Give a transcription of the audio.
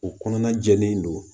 U kɔnɔna jɛlen don